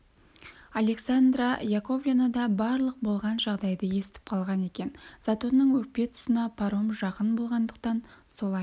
александра яковлевна да барлық болған жайды естіп қанған екен затонның өкпе тұсына паром жақын болғандықтан солай